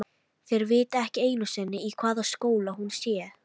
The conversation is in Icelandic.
Þeir viti ekki einu sinni í hvaða skóla hún sé.